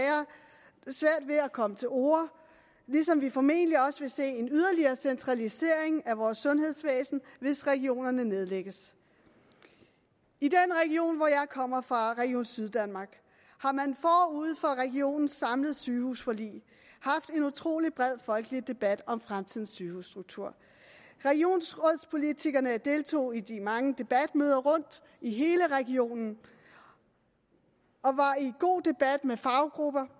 ved at komme til orde ligesom vi formentlig også vil se en yderligere centralisering af vores sundhedsvæsen hvis regionerne nedlægges i den region hvor jeg kommer fra region syddanmark har man forud for regionens samlede sygehusforlig haft en utrolig bred folkelig debat om fremtidens sygehusstruktur regionsrådspolitikerne deltog i de mange debatmøder rundt i hele regionen og var i god debat med faggrupper